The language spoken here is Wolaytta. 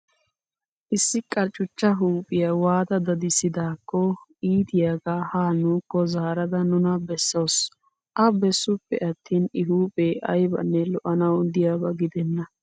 Issi qarccuchcha huuphiyaa waata dadissidaakko iitiyaaga ha nuukko zaarada nuna bessawusu. A bessuppe attin I huuphee ayibanne lo''anawu diyaaba gidenna.